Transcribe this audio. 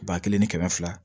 Ba kelen ni kɛmɛ fila